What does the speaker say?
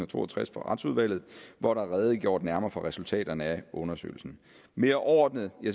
to og tres fra retsudvalget hvor der er redegjort nærmere for resultaterne af undersøgelserne mere overordnet